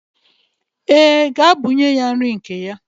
Ee, gaa bunye ya nri nke ya.